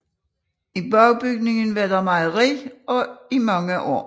I bagbygningen var der mejeri i mange år